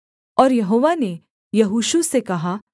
और यहोवा ने यहोशू से कहा